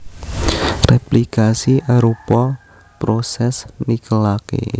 Réplikasi arupa prosès nikelaké